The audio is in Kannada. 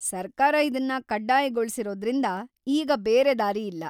ಸರ್ಕಾರ ಇದನ್ನ ಕಡ್ಡಾಯಗೊಳ್ಸಿರೋದ್ರಿಂದ ಈಗ ಬೇರೆ ದಾರಿಯಿಲ್ಲ.